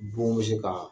Bon bɛ se ka